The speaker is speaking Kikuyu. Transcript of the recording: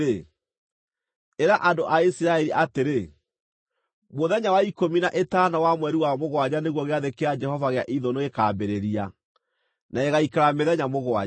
“Ĩra andũ a Isiraeli atĩrĩ: ‘Mũthenya wa ikũmi na ĩtano wa mweri wa mũgwanja nĩguo Gĩathĩ kĩa Jehova gĩa Ithũnũ gĩkaambĩrĩria, na gĩgaaikara mĩthenya mũgwanja.